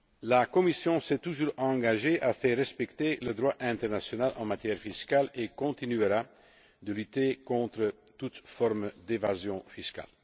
La Commission s'est toujours engagée à faire respecter le droit international en matière fiscale et continuera de lutter contre toute forme d'évasion fiscale.